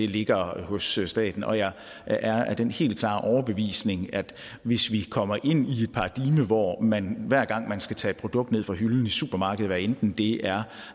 ligger hos staten og jeg er af den helt klare overbevisning at hvis vi kommer ind i et paradigme hvor man hver gang man skal tage et produkt ned fra hylden i supermarkedet hvad enten det er